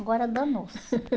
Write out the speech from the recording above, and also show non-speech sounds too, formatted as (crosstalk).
Agora danou-se. (laughs)